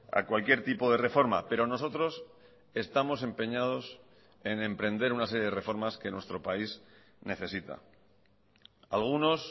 a cualquier tipo de reforma pero nosotros estamos empeñados en emprender una serie de reformas que nuestro país necesita algunos